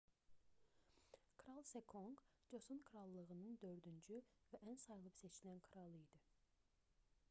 kral seconq coson krallığının dördüncü və ən sayılıb-seçilən kralı idi